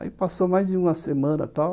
Aí passou mais de uma semana, tal,